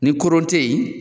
Ni kurun te ye